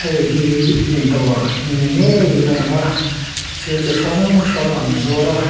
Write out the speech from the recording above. heihi dawr ni ngeiin a lang a thil chi hrang hrang an zuar a.